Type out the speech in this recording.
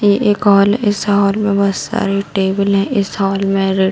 ए-एक hall है इस hall में बहुत सारी टेबले इस हॉल में रे --